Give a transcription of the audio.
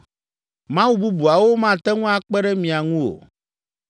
Mawu bubuawo mate ŋu akpe ɖe mia ŋu o.